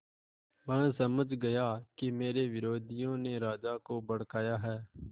वह समझ गया कि मेरे विरोधियों ने राजा को भड़काया है